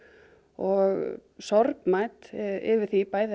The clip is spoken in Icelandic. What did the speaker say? og sorgmætt yfir því